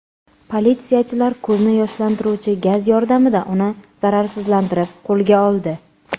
Politsiyachilar ko‘zni yoshlantiruvchi gaz yordamida uni zararsizlantirib, qo‘lga oldi.